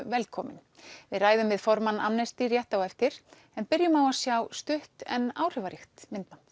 velkomin við ræðum við formann Amnesty rétt á eftir en byrjum á að sjá stutt en áhrifaríkt myndband